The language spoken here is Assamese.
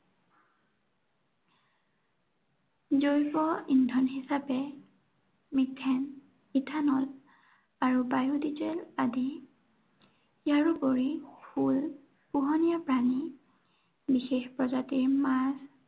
জৈৱ ইন্ধন হিচাপে, মিথেন, ইথানল, আৰু বায়ু ডিজেল আদি, ইয়াৰোপৰি ফুল, পোহনীয়া প্ৰাণী, বিশেষ প্ৰজাতিৰ মাছ